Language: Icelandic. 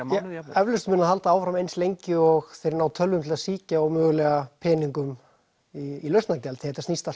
mánuði jafnvel eflaust mun það halda áfram eins lengi og þeir ná tölvum til að sýkja og mögulega peningum í lausnargjald því þetta snýst allt